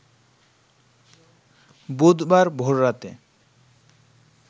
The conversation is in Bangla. বুধবার ভোর রাতে